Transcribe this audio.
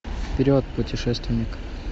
вперед путешественник